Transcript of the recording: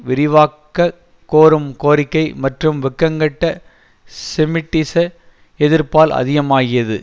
விரிவாக்க கோரும் கோரிக்கை மற்றும் வெட்கங்கெட்ட செமிட்டிச எதிர்ப்பால் அதிகமாகியது